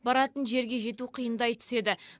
баратын жерге жету қиындай түседі